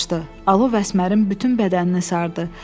Alov Əsmərin bütün bədənini sardı.